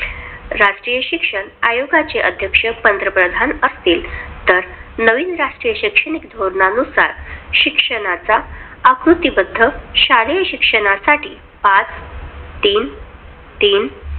राष्टीय शिक्षण आयोगाचे अध्यक्ष पंतप्रधान असतील, तर नवीन राष्ट्रीय शैक्षणिक धोरणानुसार शिक्षणाचा आकृतीबद्ध शालेय शिक्षणासाठी पाच तीन तीन.